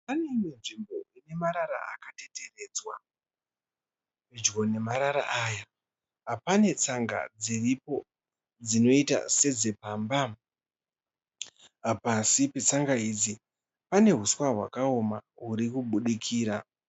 Pane imwe nzvimbo ine marara akateteredzwa. Pedyo nemarara aya pane tsanga dziripo dzinoita sedzepamba. Pasi petsanga idzi pane huswa hwakaoma hurikubudikira.